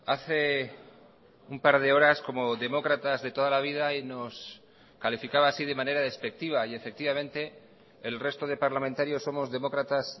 hace un par de horas como demócratas de toda la vida y nos calificaba así de manera despectiva y efectivamente el resto de parlamentarios somos demócratas